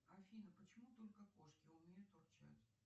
афина почему только кошки умеют урчать